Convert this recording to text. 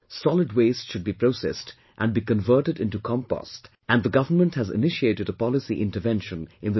Solid waste should be processed and be converted into Compost and the government has initiated a policy intervention in this regard